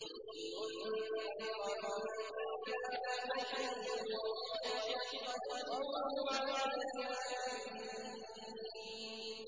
لِّيُنذِرَ مَن كَانَ حَيًّا وَيَحِقَّ الْقَوْلُ عَلَى الْكَافِرِينَ